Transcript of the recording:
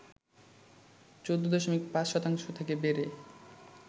১৪.৫শতাংশ থেকে বেড়ে